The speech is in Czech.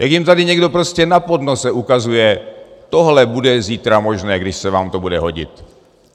Jak jim tady někdo prostě na podnose ukazuje: tohle bude zítra možné, když se vám to bude hodit.